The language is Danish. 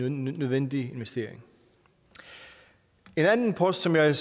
en nødvendig investering en anden post som jeg